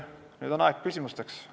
Nüüd on aeg küsimusteks.